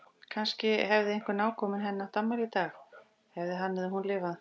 Kannski hefði einhver nákominn henni átt afmæli í dag- hefði hann eða hún lifað.